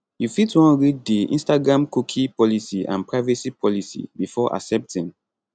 you fit wan read di instagramcookie policyandprivacy policybefore accepting